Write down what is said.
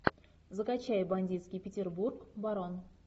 закачай бандитский петербург барон